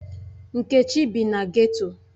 Nkechi bi na geto.